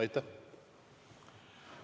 Aitäh!